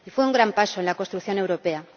Fue un gran paso en la construcción europea.